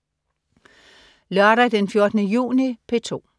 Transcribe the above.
Lørdag den 14. juni - P2: